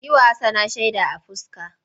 Yi wa Hassana shaida a fuska!